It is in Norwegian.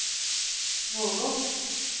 Vågå